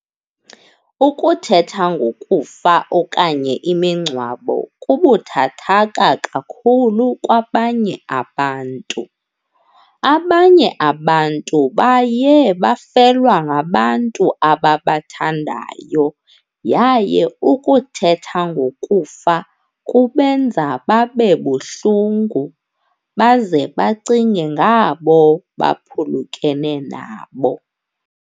Ukuthetha ngokufa okanye imingcwabo kubuthathaka kakhulu kwabanye. Abanye abantu baye bafelwa ngabantu ababathandayo yaye ukuthetha ngokufa kubenza babe buhlungu, baze bacinge ngabo baphulukene nabo.